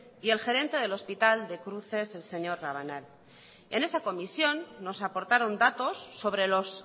y el gerente del hospital de cruces el señor rabanal en esa comisión nos aportaron datos sobre los